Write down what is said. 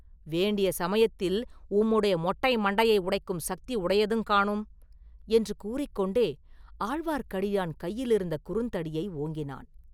வேண்டிய சமயத்தில் உம்முடைய மொட்டை மண்டையை உடைக்கும் சக்தி உடையதுங் காணும்!” என்று கூறிக் கொண்டே ஆழ்வார்க்கடியான் கையிலிருந்த குறுந்தடியை ஓங்கினான்.